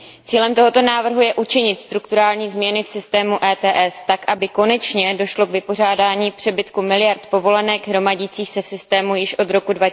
Cílem tohoto návrhu je učinit strukturální změny v systému ETS tak, aby konečně došlo k vypořádání přebytku miliard povolenek hromadících se v systému již od roku